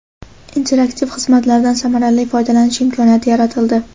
interaktiv xizmatlardan samarali foydalanish imkoniyati yaratildi.